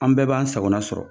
An bɛɛ b'an sagona sɔrɔ